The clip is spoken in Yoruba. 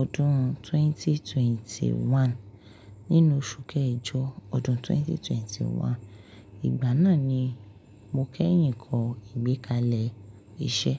ọdún twenty-twenty-one. Nínú oṣù kẹjọ ọdún twenty twenty one. Ìgbà náà ni mo kẹ́yìn kọ ìgbékalẹ̀ iṣẹ́.